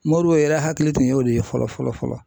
Mori yɛrɛ hakili tun y'o de ye fɔlɔ fɔlɔ fɔlɔ.